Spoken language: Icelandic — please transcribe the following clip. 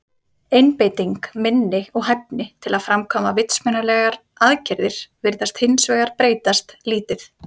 Einbeiting, minni og hæfni til að framkvæma vitsmunalegar aðgerðir virðast hins vegar breytast lítið.